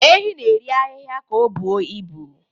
Ehi na-eri ahihia ka ọ buru ibu.